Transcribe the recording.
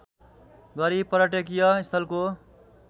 गरी पर्यटकीय स्थलको